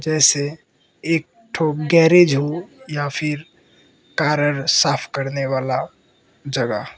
ऐसे एक ठो गैरेज हो या फिर कार अर साफ करने वाला जगह --